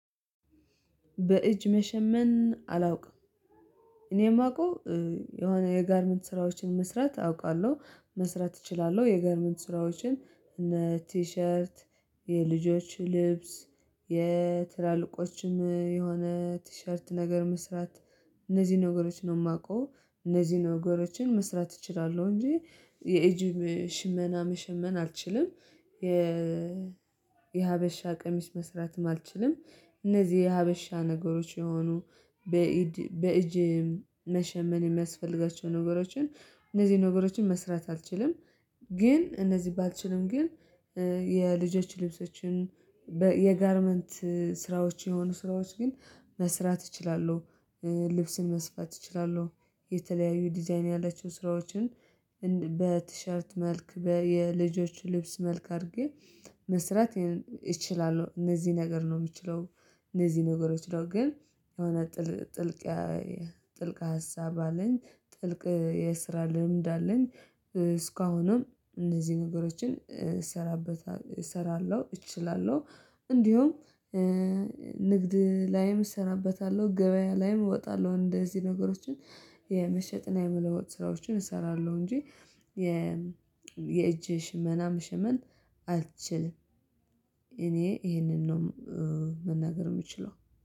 በእጅ መሸመን አላውቅም። እኔ የማውቀው የሆነ የጋርመንት ስራዎችን መስራት አውቃለሁ። መስራት እችላለሁ። የጋርመንት ስራዎችን እነ ቲሸርት የልጆች ልብስ የትላልቆችም የሆነ ቲሸርት ነገር መስራት እነዚህ ነገሮችን ነው የማውቀው። እነዚህን ነገሮችን መስራት እችላለሁ እንጂ የኤጅ ሽመና መሸመን አልችልም የ የሀበሻ ቀሚስ መስራትም አልችልም። እነዚህ የሀበሻ ነገሮች የሆኑ በእጅ መሸመን የሚያስፈልጋቸውን ነገሮችን እነዚህ ነገሮችን መስራት አልችልም። ግን እነዚህ ባልችልም ግን የልጆች ልብሶችን የጋርመንት ስራዎች የሆኑ ስራዎች ግን መስራት እችላለሁ። ልብስን መስፋት እችላለሁ። የተለያዩ ዲዛይን ያላቸው ስራዎችን በቲሸርት መልክ የልጆች ልብስ መልክ አድርጌ መስራት እችላለሁ። እነዚህ ነገር ነው የምችለው። እነዚህ ነገሮች ነው። ግን የሆነ ጥልቅ ሀሳብ አለኝ። ጥልቅ የስራ ልምድ አለኝ እስካሁንም እነዚህ ነገሮችን እሰራለሁ፣ እችላለሁ፣ እንዲሁም ንግድ ላይም እሰራበታለሁ። ገበያ ላይም እወጣለሁ። እንደዚህ ነገሮችን የመሸጥና የመለወጥ ስራዎችን እሰራለሁ እንጂ የ የእጅ ሽመናም ምን አልችልም። እኔ ይሄንን ነው መናገር የምችለው።